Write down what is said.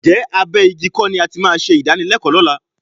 Ǹjẹ́ abẹ́ igi kọ́ ni a ti máa ṣe ìdánilẹ́kọ̀ọ́ lọ́la?